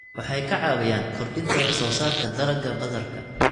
Waxay ka caawiyaan kordhinta wax soo saarka dalagga badarka.